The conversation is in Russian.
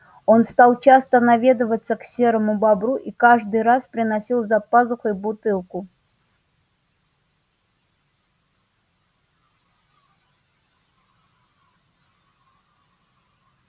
он стал часто наведываться к серому бобру и каждый раз приносил за пазухой бутылку